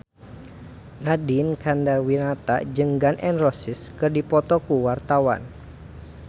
Nadine Chandrawinata jeung Gun N Roses keur dipoto ku wartawan